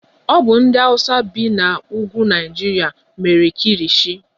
Ọ bụ ndị hausa bi n'ebe ugwu Naịjirịa mere Kilishi.